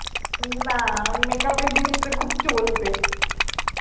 না makeup এর জিনিসটা খুব চলবে